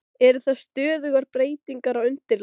Eru það stöðugar breytingar á undirlagi?